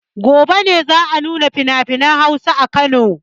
Gobe ne za a nuna finafinan Hausa a Kano.